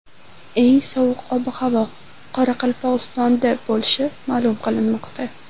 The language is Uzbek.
Eng sovuq ob-havo Qoraqalpog‘istonda bo‘lishi ma’lum qilinmoqda.